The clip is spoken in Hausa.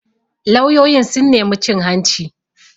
Lauyoyin sun nemi cin hanci